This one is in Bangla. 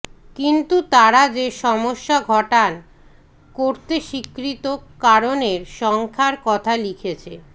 কিন্তু তারা যে সমস্যা ঘটান করতে স্বীকৃত কারণের সংখ্যার কথা লিখেছে